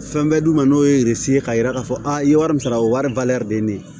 Fɛn bɛ d'u ma n'o ye ye k'a yira k'a fɔ a ye wari min sara o ye wari bali de ye ne